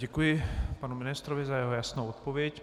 Děkuji panu ministrovi za jeho jasnou odpověď.